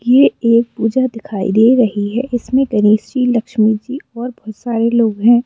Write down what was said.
ये एक पूजा दिखाई दे रही है इसमें गणेश जी लक्ष्मी जी और बहुत सारे लोग हैं।